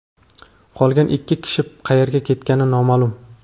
qolgan ikki kishi qayerga ketgani noma’lum.